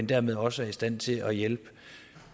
dermed også er i stand til at hjælpe